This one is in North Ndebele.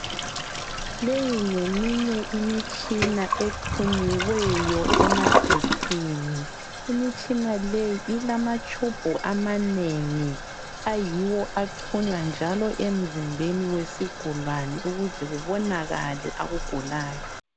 Leyi ngeminye imitshina exhunyiweyo emagetsini. Imitshina leyi ilamatshubhu amanengi ayiwo axhunywa njalo emzimbeni wesigulane ukuze kubonakale akugulayo.